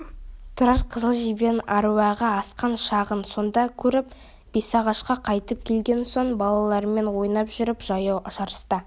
тұрар қызыл жебенің әруағы асқан шағын сонда көріп бесағашқа қайтып келген соң балалармен ойнап жүріп жаяу жарыста